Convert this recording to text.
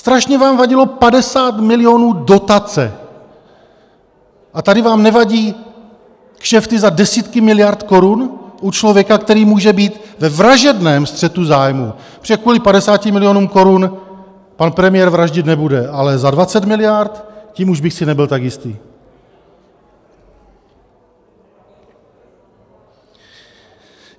Strašně vám vadilo 50 milionů dotace, a tady vám nevadí kšefty za desítky miliard korun u člověka, který může být ve vražedném střetu zájmu, protože kvůli 50 milionům korun pan premiér vraždit nebude, ale za 20 miliard, tím už bych si nebyl tak jistý.